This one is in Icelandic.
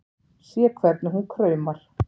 Sé hvernig hún kraumar.